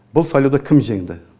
бұл сайлауда кім жеңді